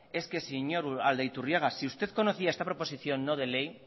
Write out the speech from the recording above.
es que señor aldaiturriaga si usted conocía esta proposición no de ley